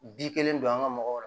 Bi kelen don an ka mɔgɔw